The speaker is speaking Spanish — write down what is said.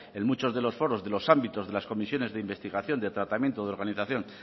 en muchos de los foros de los ámbitos de las comisiones de investigación de tratamiento de organización